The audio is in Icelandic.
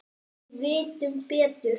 Við vitum betur.